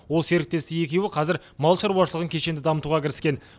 ол серіктесі екеуі қазір мал шаруашылығын кешенді дамытуға кіріскен